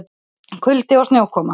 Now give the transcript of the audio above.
Kuldi og snjókoma